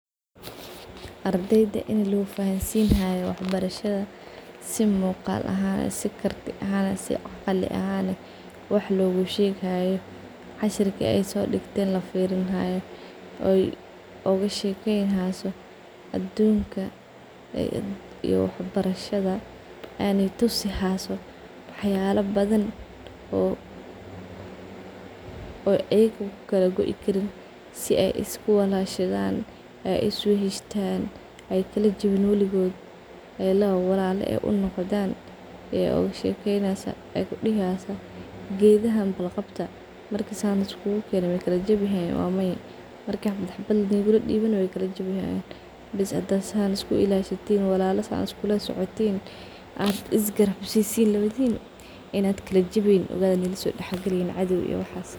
Ardeyda in lofahansinayo wax barashada si muqal ahan eh , si karti ahan eh si aqli ahan ehwax logyushegayo , cashirki ay sodigten lafirinhayo oy ogashekeynaso adunka iyo wax barashada , oy tusinayso waxyala badan ogashekeyneysaa sida walala uahadan siday ikugarabsanayan , si ay iskuwalashadan ay is weheshtan ay lawa walala ah unoqdhan , bes hadaa sn iskulasocotin iswalashatin , iskulasocotin in kalajaweynin ogada linasodax galeynin cadow iyo waxas.